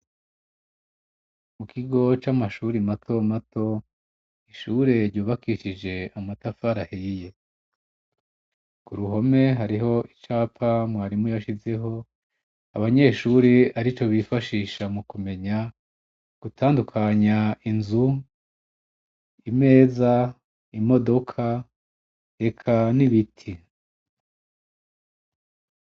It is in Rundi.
Mu kigo c'amashuri mato mato, ishure ryubakishije amatafari ahiye. Kuruhome hariho icapa mwarimu yashizeho, abanyeshuri arico bifashisha mu kumenya gutandukanya inzu, imeza, imodoka, eka n'ibiti.